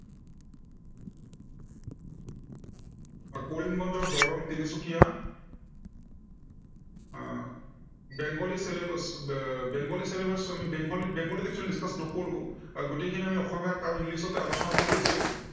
Karimganj, Darrang, Tinsukia, uh Bengali syllabus, Bengali syllabus আমি বেংগলী, বেংগলীত actually discuss নকৰো। গোটেইখিনি অসমীয়াত আৰু ইংলিছতে আলোচনা কৰি আছো।